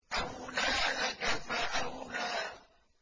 أَوْلَىٰ لَكَ فَأَوْلَىٰ